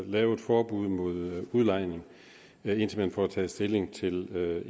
lave et forbud mod udlejning indtil man får taget stilling til